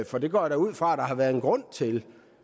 for det går jeg da ud fra at der har været en grund til